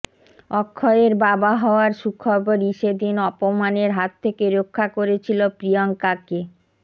অক্ষয়ের বাবা হওয়ার সুখবরই সেদিন অপমানের হাত থেকে রক্ষা করেছিল প্রিয়ঙ্কাকে